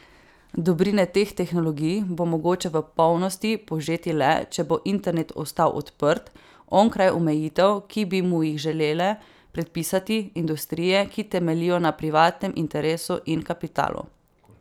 Dobrine teh tehnologij bo mogoče v polnosti požeti le, če bo internet ostal odprt, onkraj omejitev, ki bi mu jih želele predpisati industrije, ki temeljijo na privatnem interesu in kapitalu.